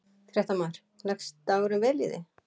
Fréttamaður: Leggst dagurinn vel í þig?